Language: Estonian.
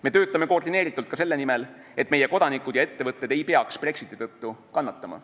Me töötame koordineeritult ka selle nimel, et meie kodanikud ja ettevõtted ei peaks Brexiti tõttu kannatama.